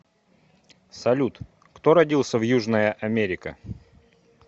салют кто родился в южная америка